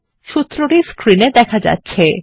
সূত্রটি স্ক্রিন এ দেখা যাচ্ছে